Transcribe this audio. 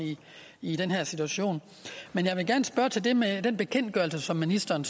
i den her situation jeg vil gerne spørge til det med den bekendtgørelse som ministeren